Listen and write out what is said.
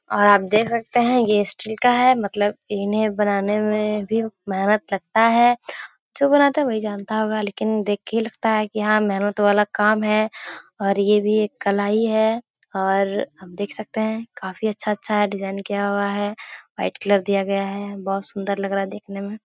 are देख सकते हैं यह स्टील का है मतलब एहने बनाने में भी मेहनत लगता है जो बनाते हैं वही जानता होगा लेकिन देख के लगता है की यहाँ मेहनत वाला काम है और यह भी एक कला ही है और आप देख सकते हैं काफी अच्छा-अच्छा डिज़ाइन किया हुआ है व्हाइट कलर दिया गया है बहुत सुंदर लग रहा है देखने में |